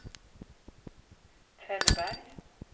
Tällberg